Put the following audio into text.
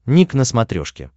ник на смотрешке